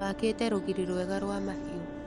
Wakĩte rũgiri rwega rwa mahiũ.